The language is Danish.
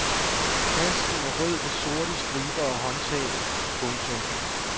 Tasken er rød med sorte striber og håndtag. punktum